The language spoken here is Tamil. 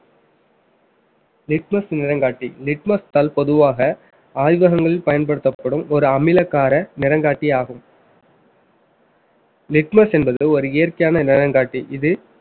litmus நிறங்காட்டி litmus தாள் பொதுவாக ஆய்வகங்களில் பயன்படுத்தப்படும் ஒரு அமிலகார நிறங்காட்டி ஆகும் litmus என்பது ஒரு இயற்கையான நிறங்காட்டி இது